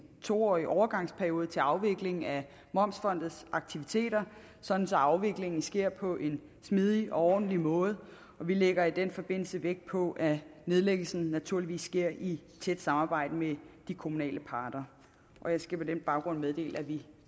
to årig overgangsperiode til afvikling af momsfondets aktiviteter sådan at afviklingen sker på en smidig og ordentlig måde vi lægger i den forbindelse vægt på at nedlæggelsen naturligvis sker i tæt samarbejde med de kommunale parter jeg skal på den baggrund meddele at vi